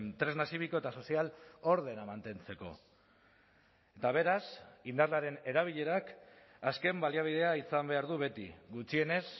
tresna zibiko eta sozial ordena mantentzeko eta beraz indarraren erabilerak azken baliabidea izan behar du beti gutxienez